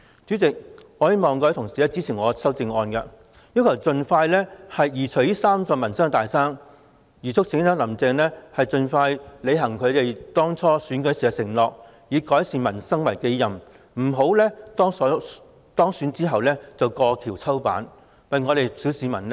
主席，我希望各位同事支持我的修正案，要求政府盡快移除這三座民生"大山"，促請"林鄭"盡快履行當初的競選承諾，以改善民生為己任，為小市民的利益多做工夫，不要當選後便過橋抽板。